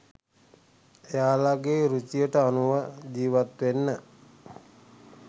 එයාලගෙ රුචියට අනුව ජීවත්වෙන්න